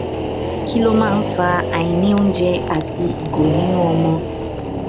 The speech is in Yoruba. kí ló máa ń fa àìní oúnjẹ àti ìgò nínú ọmọ